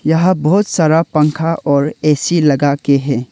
यहां बहुत सारा पंखा और ए_सी लगाके है।